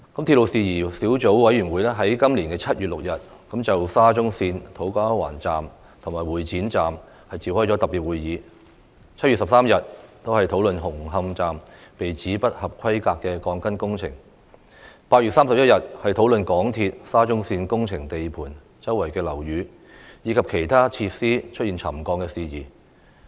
鐵路事宜小組委員會在今年7月6日就沙中線土瓜灣站和會展站召開特別會議，在7月13日討論紅磡站被指不合規格的鋼筋工程，在8月31日討論港鐵公司沙中線工程地盤周邊樓宇及其他設施出現沉降的事宜。